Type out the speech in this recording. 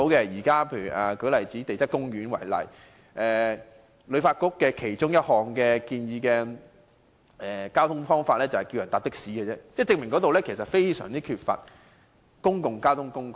以前往地質公園為例，旅發局建議的其中一種交通方法是乘坐的士，足以證明該景點缺乏公共交通工具。